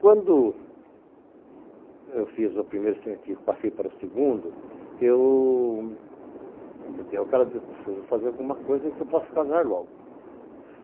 Quando eu fiz o primeiro científico, passei para o segundo, eu me dei a cara de que preciso fazer alguma coisa que eu possa casar logo.